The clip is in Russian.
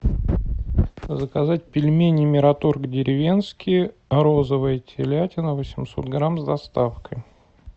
заказать пельмени мираторг деревенские розовая телятина восемьсот грамм с доставкой